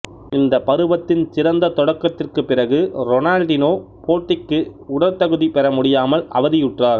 இந்த பருவத்தின் சிறந்த தொடக்கத்திற்குப் பிறகு ரொனால்டினோ போட்டிக்கு உடற்தகுதி பெற முடியாமல் அவதியுற்றார்